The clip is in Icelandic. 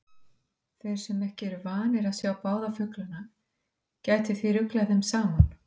Þeir sem ekki eru vanir að sjá báða fuglana gætu því ruglað þeim saman.